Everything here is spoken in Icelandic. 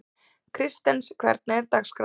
Kristens, hvernig er dagskráin?